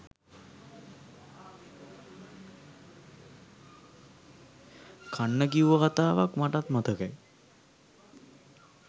කන්න කිව්ව කතාවක් මටත් මතකයි